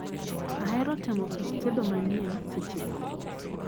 Ahero temo kit tedo manyien seche duto.